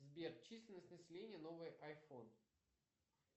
сбер численность населения новый айфон